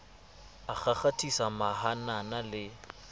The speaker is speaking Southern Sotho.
a kgakgathisa mahanana e re